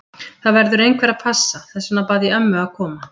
Það verður einhver að passa, þess vegna bað ég ömmu að koma.